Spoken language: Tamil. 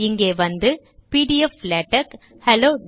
இங்கே வந்து பிடிஎஃப் லேடக் ஹெலோ